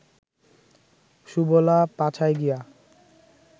সুবলা, পাছায় গিয়া